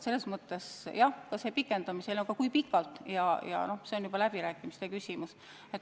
Aga jah, mis puutub sellesse pikendamisse, siis kui pikalt seda teha, see on juba läbirääkimiste küsimus.